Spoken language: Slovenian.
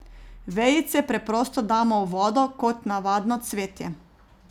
Vejice preprosto damo v vodo kot navadno cvetje.